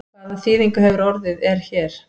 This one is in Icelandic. Hvað þýðingu hefur orðið er hér?